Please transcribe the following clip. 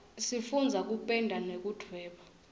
sifundza kupenda nekudvweba